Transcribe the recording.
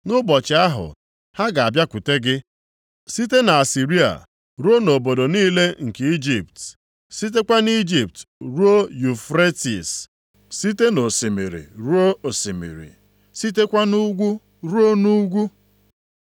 Nʼụbọchị ahụ, ha ga-abịakwute gị, site na Asịrịa ruo na obodo niile nke Ijipt, sitekwa nʼIjipt ruo Yufretis, site nʼosimiri ruo osimiri, sitekwa nʼugwu ruo nʼugwu.